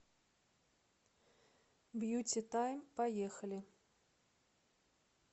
бьюти тайм поехали